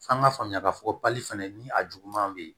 F'an k'a faamuya k'a fɔ ko bali fɛnɛ ni a juguman be yen